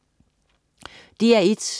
DR1: